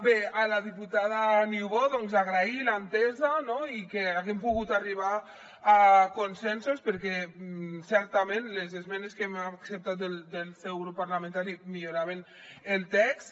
bé a la diputada niubó agrair l’entesa i que haguem pogut arribar a consensos perquè certament les esmenes que hem acceptat del seu grup parlamentari milloraven el text